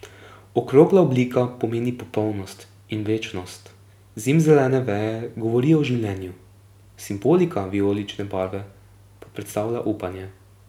Okrogla oblika pomeni popolnost in večnost, zimzelene veje govorijo o življenju, simbolika vijolične barve pa predstavlja upanje.